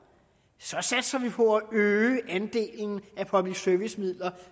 satser på at øge andelen af public service midler